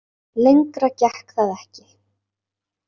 Lengra gekk það ekki.